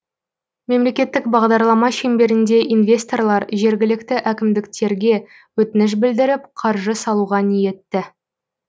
мемлекеттік бағдарлама шеңберінде инвесторлар жергілікті әкімдіктерге өтініш білдіріп қаржы салуға ниетті